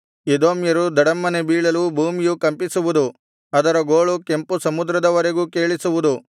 ಎದೋಮ್ಯರು ಧಡಮ್ಮನೆ ಬೀಳಲು ಭೂಮಿಯು ಕಂಪಿಸುವುದು ಅದರ ಗೋಳು ಕೆಂಪು ಸಮುದ್ರದವರೆಗೂ ಕೇಳಿಸುವುದು